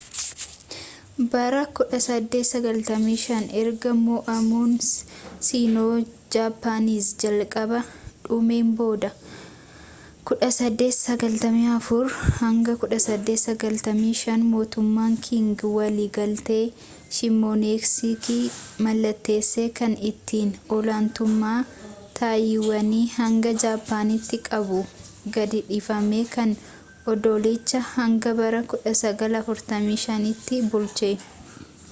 bara 1895 ergaa mo’amuun sino-japanese jalqabaa dhumeen booda 1894-1895 mootummaan qing walii galtee shimonoseki mallatteesse kan ittin olaantummaa taayiwaanii hanga jaapaanitti qabu gad-dhiifame kan oddolicha hanga bara 1945 tti bulche